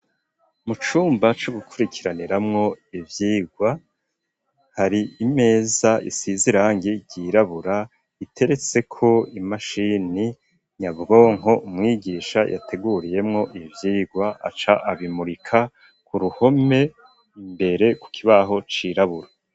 Mucumba cugukurikiraniramwo ivyigwa hari imeza isize irangi ryirabura iteretseko imashini nyabwonko umwigisha yateguriyemwo ivyigwa aca abimurika ku ruhome imbere ku kibaho c'irabura.